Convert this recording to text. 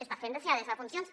està fent deixadesa de funcions